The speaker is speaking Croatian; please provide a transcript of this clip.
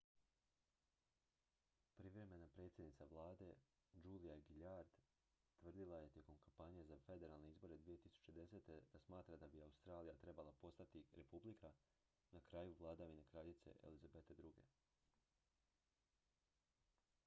privremena predsjednica vlade julia gillard tvrdila je tijekom kampanje za federalne izbore 2010. da smatra da bi australija trebala postati republika na kraju vladavine kraljice elizabete ii